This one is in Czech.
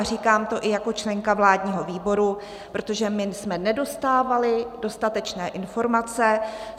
A říkám to i jako členka vládního výboru, protože my jsme nedostávali dostatečné informace.